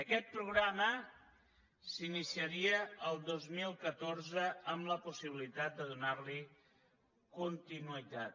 aquest programa s’iniciaria el dos mil catorze amb la possibilitat de donar hi continuïtat